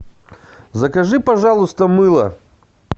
закажи пожалуйста мыло